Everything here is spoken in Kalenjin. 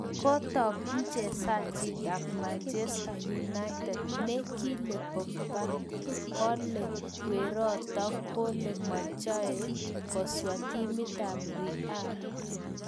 Kotak mchezajiit ab manchester united ne kile pogba, kole weroto kole machei kwsa timit ab real